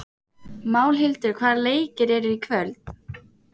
Málhildur, hvaða leikir eru í kvöld?